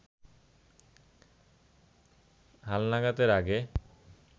হালনাগাদের আগে